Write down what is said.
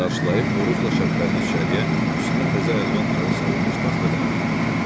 Qarşılayıb Orucla Şəhbəlini içəriyə üstünə təzə əlvan xalı salınmış taxta dəvət edirdi.